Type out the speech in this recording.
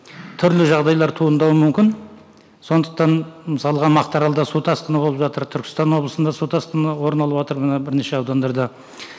түрлі жағдайалр туындауы мүмкін сондықтан мысалға мақтаралда су тасқыны болып жатыр түркістан облысында су тасқыны орын алыватыр мына бірнеше аудандарда